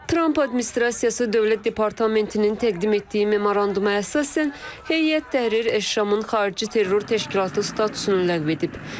Tramp administrasiyası dövlət departamentinin təqdim etdiyi memoranduma əsasən, Heyət Təhrir Əşşamın xarici terror təşkilatı statusunu ləğv edib.